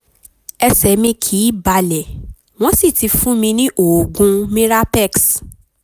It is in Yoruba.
ẹsẹ̀ mi kìí balẹ̀ wọ́n sì ti fún mi ní oògùn mirapex